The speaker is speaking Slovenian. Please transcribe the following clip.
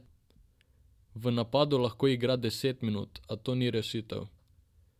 V napadu lahko igra deset minut, a to ni rešitev.